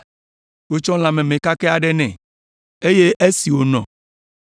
Wotsɔ lã meme kakɛ aɖe nɛ, eye esi wònɔ